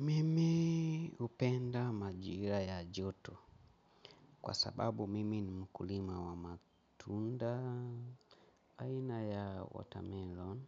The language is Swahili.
Mimi hupenda majira ya joto, kwa sababu mimi ni mkulima wa matunda. Aina ya 'watermelon'